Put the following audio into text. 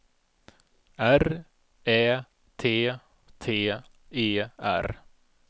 R Ä T T E R